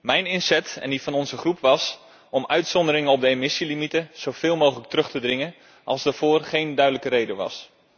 Mijn inzet en die van onze fractie was om uitzonderingen op de emissiegrenswaarden zoveel mogelijk terug te dringen als daarvoor geen duidelijke reden was.